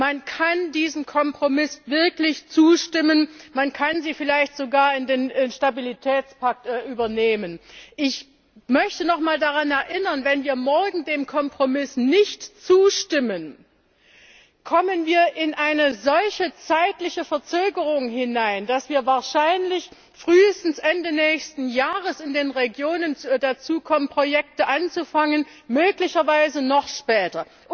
Man kann diesem Kompromiss wirklich zustimmen und ihn vielleicht sogar in den Stabilitätspakt übernehmen. Ich möchte noch einmal daran erinnern Wenn wir morgen dem Kompromiss nicht zustimmen, entsteht eine solche zeitliche Verzögerung, dass wir wahrscheinlich frühestens Ende nächsten Jahres in den Regionen dazu kommen, mit den Projekten zu beginnen, möglicherweise noch später.